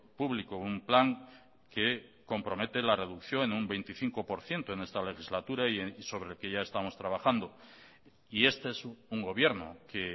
público un plan que compromete la reducción en un veinticinco por ciento en esta legislatura y sobre el que ya estamos trabajando y este es un gobierno que